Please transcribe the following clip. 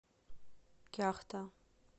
кяхта